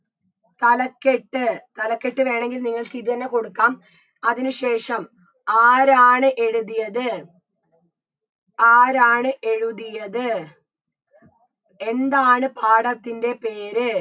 തലക്കെട്ട് തലക്കെട്ട് വേണെങ്കിൽ നിങ്ങൾക്ക് ഇതെന്നെ കൊടുക്കാം അതിന് ശേഷം ആരാണ് എഴുതിയത് ആരാണ് എഴുതിയത് എന്താണ് പാഠത്തിൻറെ പേര്